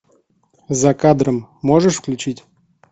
за кадром можешь включить